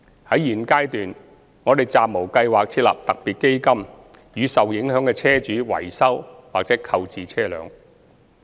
在現階段，我們暫無計劃設立特別基金予受影響的車主維修或購置車輛。